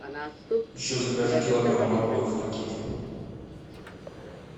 еще закажи килограмм моркови в пакете